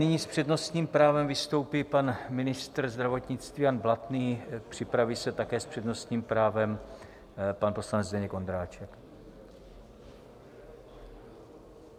Nyní s přednostním právem vystoupí pan ministr zdravotnictví Jan Blatný, připraví se také s přednostním právem pan poslanec Zdeněk Ondráček.